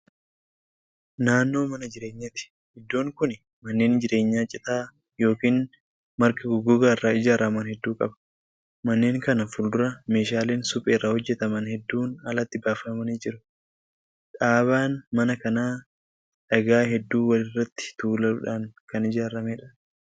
Naannoo mana jireenyaati. iddoon Kuni manneen jireenyaa citaa yookaan marga gogaarraa ijaaraman hedduu qaba. manneen kana fuuldura meeshaaleen supheerraa hojjataman hedduun alaatti baafamanii jiru. dhaabaan mana kanaa dhagaa hedduu walirratti tuuludhaan Kan ijaaramedha.